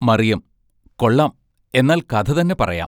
മറിയം. കൊള്ളാം എന്നാൽ കഥ തന്നെ പറയാം.